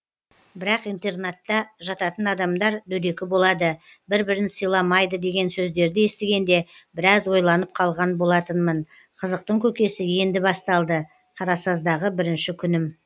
бірақ интернатта жататын адамдар дөрекі болады бір бірін сыйламайды деген сөздерді естігенде біраз ойланып қалған болатынмын қызықтың көкесі енді басталды қарасаздағы бірінші күнім